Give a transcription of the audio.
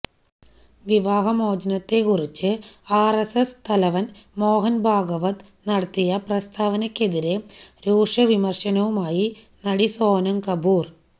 വിവാഹമോചനത്തിനെക്കുറിച്ച് RSS തലവന് മോഹന് ഭാഗവത് നടത്തിയ പ്രസ്താവനയ്ക്കെതിരെ രൂക്ഷവിമര്ശനവുമായി നടി സോനം കപൂര്